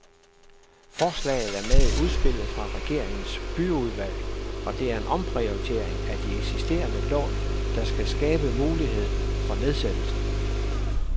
Forslaget er med i udspillet fra regeringens byudvalg, og det er en omprioritering af de eksisterende lån, der skal skabe mulighed for nedsættelsen.